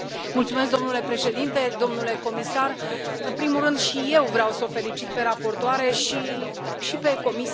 Domnule președinte, domnule comisar, în primul rând și eu vreau să o felicit pe raportoare și pe Comisie.